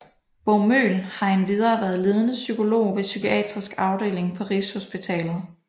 Bo Møhl har endvidere været ledende psykolog ved Psykiatrisk Afdeling på Rigshospitalet